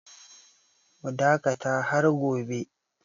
Mu dakata har gobe!